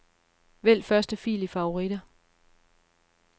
Vælg første fil i favoritter.